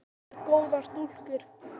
En þetta eru góðar stúlkur.